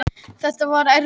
Þetta var erfitt